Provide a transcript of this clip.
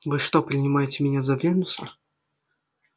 вы что принимаете меня за венуса